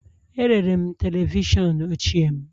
Erere m televishọn ochie m